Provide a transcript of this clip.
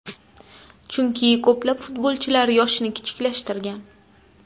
Chunki ko‘plab futbolchilar yoshini kichiklashtirgan.